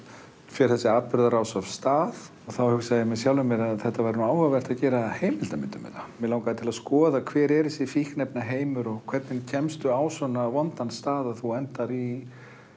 fer þessi atburðarás af stað og þá hugsa ég með mér að það væri áhugavert að gera heimildarmynd um þetta mig langaði að skoða hver er þessi fíkniefnaheimur og hvernig kemst á svona vondan stað að þú endar í